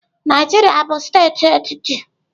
Naijiria bụ steeti etiti.